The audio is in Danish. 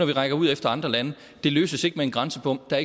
vi rækker ud efter andre lande det løses ikke med en grænsebom der